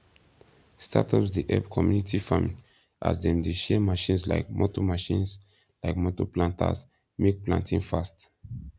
startups dey help community farming as dem de share machines like motor machines like motor planters make planting fast